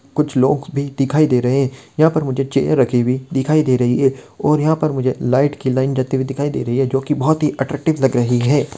कुछ लोग भी दिखाई दे रहे हैं| यहाँ पर मुझे चयर रखी हुई दिखाई दे रही है| यहाँ पे मुझे लाइट की लाइन जाती हुई देखी दे रही है जो की बहुत ही अत्त्रक्टिव लग रही है।